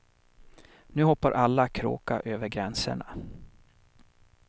Nu hoppar alla kråka över gränserna.